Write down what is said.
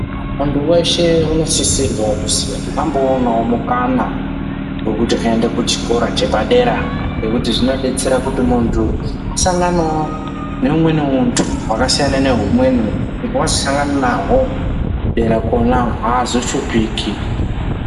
Munthu weshe unosisirwa kuzi amboonawo mukana, wekuti aende kuchikora chepadera, ngekuti zvinodetsera kuti muntu asanganewo neumweni muntu wakasiyana nehumweni, kuti wazosangana nahwo, dera kwona, aazoshuphiki.